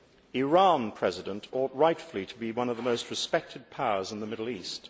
Iran ought rightfully to be one of the most respected powers in the Middle East.